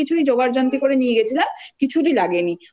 ভাবতে পারিনি! তাইজন্য অনেক কিছুই জোগাড় জান্তি করে নিয়ে